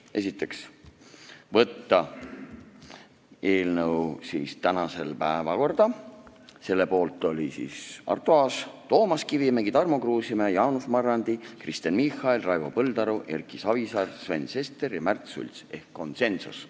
Esiteks, saata eelnõu päevakorda tänaseks, selle poolt olid Arto Aas, Toomas Kivimägi, Tarmo Kruusimäe, Jaanus Marrandi, Kristen Michal, Raivo Põldaru, Erki Savisaar, Sven Sester ja Märt Sults ehk oli konsensus.